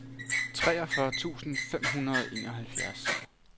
treogfyrre tusind fem hundrede og enoghalvtreds